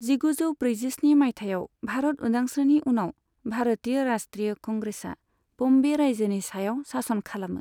जिगुजौ ब्रैजिस्नि मायथाइयाव भारत उदांस्रिनि उनाव, भारतीय राष्ट्रीय कंग्रेसआ बम्बे रायजोनि सायाव सासन खालामो।